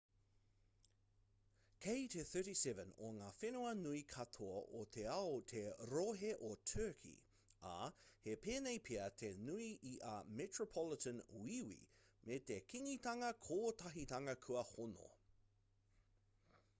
kei te 37 o ngā whenua nui katoa o te ao te rohe o turkey ā he pēnei pea te nui i a metropolitan wīwi me te kingitanga kotahitanga kua hono